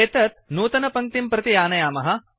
एतत् नूतनपङ्क्तिं प्रति आनयामः